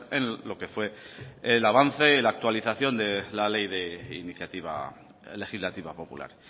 en lo que fue el avance en la actualización de la ley de iniciativa legislativa popular